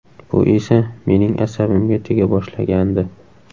Bu esa mening asabimga tega boshlagandi.